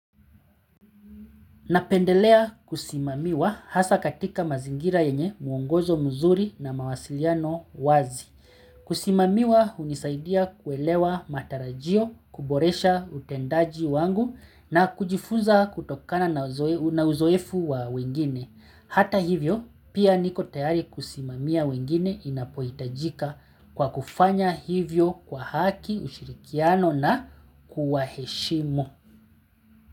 Napendelea kusimamiwa hasa katika mazingira yenye mwongozo mzuri na mawasiliano wazi. Kusimamiwa hunisaidia kuelewa matarajio, kuboresha utendaji wangu na kujifunza kutokana na uzoefu wa wengine. Hata hivyo, pia niko tayari kusimamia wengine inapohitajika kwa kufanya hivyo kwa haki ushirikiano na kuwaheshimu.